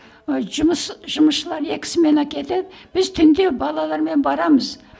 ы жұмыс жұмысшылар екі смена кетеді біз түнде балалармен барамыз